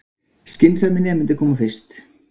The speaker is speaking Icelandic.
Skynsamir nemendur koma fyrst